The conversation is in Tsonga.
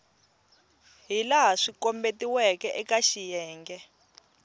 hilaha swi kombetiweke eka xiyenge